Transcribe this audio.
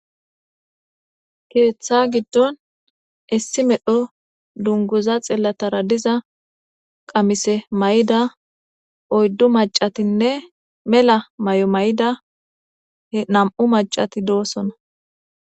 Keeththa giddon issi medho dunguza xillatara diza qamise may'ida oyddu macatinne mela may'o may'ida he nam'u macati doosona.